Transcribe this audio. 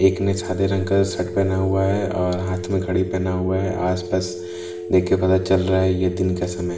एक ने सादे रंग का शर्ट पहना हुआ है और हाथ में घड़ी पहना हुआ है आसपास देख के पता चल रहा है ये दिन का समय है ।